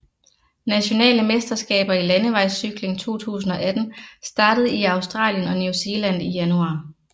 Nationale mesterskaber i landevejscykling 2018 startede i Australien og New Zealand i januar